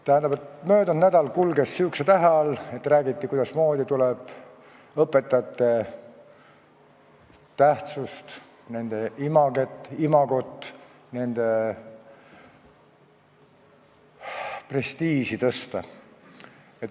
Tähendab, möödunud nädal kulges sihukese tähe all, et räägiti, kuidasmoodi tuleb õpetajate tähtsust, nende imagot ja prestiiži tõsta.